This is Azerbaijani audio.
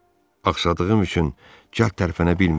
Axsadığım üçün cəld tərəfənə bilmir.